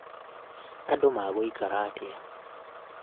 andũ magũĩkara atĩa?